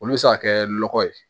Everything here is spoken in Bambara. Olu bɛ se ka kɛ nɔgɔ ye